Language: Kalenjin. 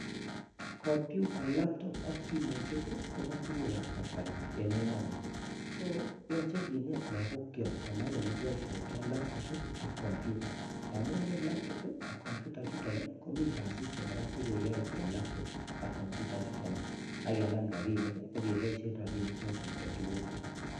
kompyuta, laptop ak simoisiek KO tuguukab kasari eng emoni so yoche kineet logookyok konai olekiboishioto labtob ak komyuta tamun eng labtob ak komyutaisiek chuton komiten kasisiek kora chekeyoe eng laptop ak kompyutaisiekchuton ak kenam rabinik ak keboishien rabinikchoton eng tuguuk alak